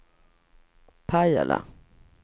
Pajala